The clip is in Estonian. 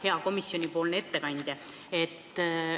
Hea komisjoni ettekandja!